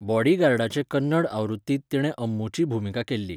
बॉडीगार्डाचे कन्नड आवृत्तींत तिणें अम्मूची भुमिका केल्ली.